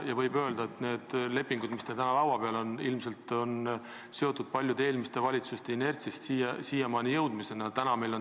Võib öelda, et lepingud, mis teil täna laua peal on, on seal ilmselt inertsist ja tänu paljude eelmiste valitsuste tegevusele.